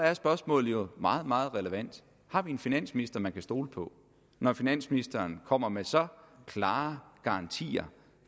er spørgsmålet jo meget meget relevant har vi en finansminister man kan stole på når finansministeren kommer med så klare garantier